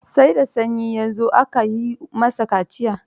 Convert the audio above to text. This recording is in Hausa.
Sai da sanyi ya zo aka yi masa kaciya.